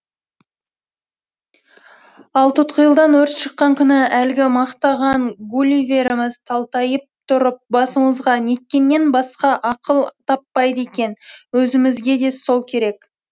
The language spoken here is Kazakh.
ал тұтқиылдан өрт шыққан күні әлгі мақтаған гулливеріміз талтайып тұрып басымызға неткеннен басқа ақыл таппайды екен өзімізге де сол керек